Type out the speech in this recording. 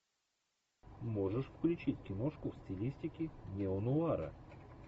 можешь включить киношку в стилистике неонуара